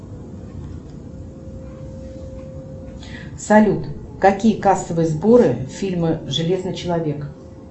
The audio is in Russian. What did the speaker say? салют какие кассовые сборы фильма железный человек